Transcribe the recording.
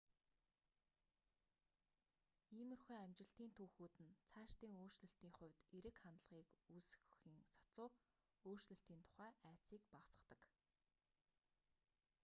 иймэрхүү амжилтын түүхүүд нь цаашдын өөрчлөлтийн хувьд эерэг хандлагыг үүсгэхийн сацуу өөрчлөлтийн тухай айдсыг багасгадаг